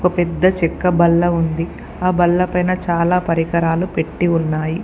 ఒక పెద్ద చెక్క బల్ల ఉంది. ఆ బల్లపైన చాలా పరికరాలు పెట్టి ఉన్నాయి.